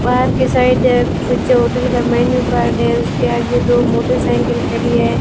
बाहर के साइड कुछ होटल का मेनू कार्ड है उसके आगे दो मोटरसाइकिल खड़ी है।